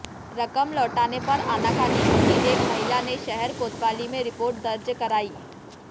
रकम लौटाने पर आनाकानी होती देख महिला ने शहर कोतवाली में रिपोर्ट दर्ज कराई